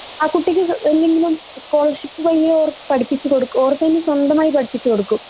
ആ കുട്ടിക്ക് എന്തെങ്കിലും സ്കോളർഷിപ് വഴിയോ പഠിപ്പിച്ച് കൊടുക്ക് ഓർക്കനെ സ്വന്തമായി പഠിപ്പിച്ച് കൊടുക്കും